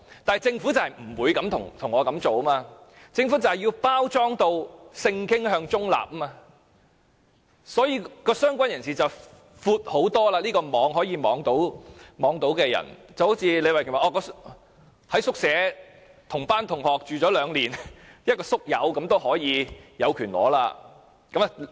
但是，政府不會這樣做，政府就是要包裝成性傾向中立，所以，"相關人士"的範圍非常闊，可以涵蓋很多人，正如李慧琼議員所舉的例子，同班同學在宿舍一起居住兩年，這樣的"宿友"也有權領取骨灰。